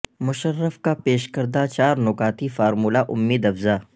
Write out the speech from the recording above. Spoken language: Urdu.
مشرف کا پیش کردہ چار نکاتی فارمولہ امید افزاء